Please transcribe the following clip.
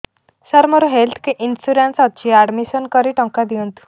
ସାର ମୋର health insurance ଅଛି admission କରି ଟଙ୍କା ଦିଅନ୍ତୁ